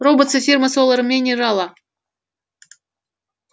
роботс и фирма солар минерала